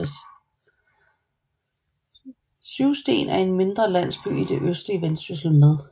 Syvsten er en mindre landsby i det østlige Vendsyssel med